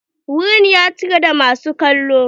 Wurin ya cika da masu kallo?